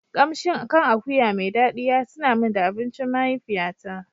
Kamshin kan akuya mai dadi ya tuna min da abincin mahaifiyata.